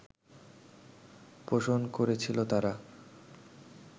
পোষণ করেছিল তারা